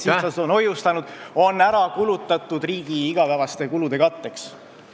... sihtasutused on hoiustanud, on ära kulutatud riigi igapäevaste kulude katteks.